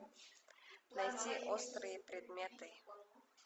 найти острые предметы